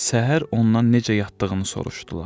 Səhər ondan necə yatdığını soruşdular.